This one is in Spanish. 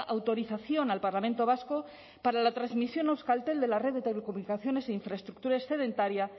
autorización al parlamento vasco para la transmisión a euskaltel de la red de telecomunicaciones e infraestructura excedentaria